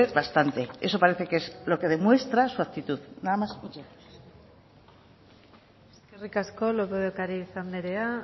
bastante eso parece que es lo que demuestra su actitud nada más y muchas gracias eskerrik asko lópez de ocariz andrea